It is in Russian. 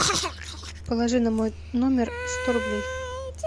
положи на мой номер сто рублей